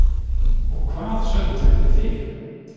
Og hvað sögðu þau við þig?